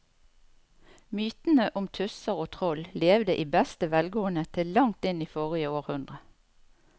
Mytene om tusser og troll levde i beste velgående til langt inn i forrige århundre.